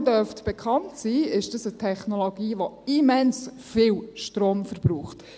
Wie Ihnen allen bekannt sein dürfte, ist das eine Technologie, die immens viel Strom verbraucht.